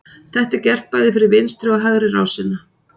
Þetta er gert bæði fyrir vinstri og hægri rásina.